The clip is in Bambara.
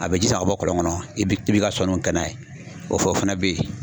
A bɛ ji sama ka bɔ kɔlɔn kɔnɔ i bɛ i bɛ ka sɔnniw kɛ n'a ye o fana bɛ ye.